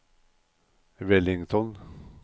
Wellington